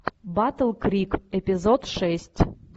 батл крик эпизод шесть